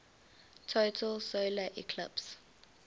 total solar eclipse